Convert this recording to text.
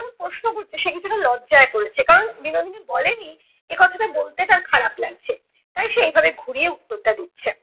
প্রশ্ন করছে সে কিছুটা লজ্জায় পড়েছে। কারণ বিনোদিনী বলেনি এ কথাটা বলতে তার খারাপ লাগছে। তাই সে এই ভাবে ঘুরিয়ে উত্তরটা দিচ্ছে।